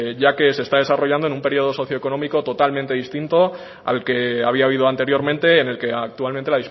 ya que se está desarrollando en un periodo socioeconómico totalmente distinto al que había habido anteriormente en el que actualmente